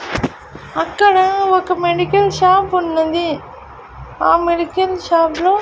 అక్కడ ఒక medical shop ఉన్నది ఆ మెడికల్ షాప్ లో--